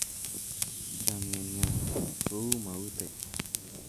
chamiet nyo ko u maute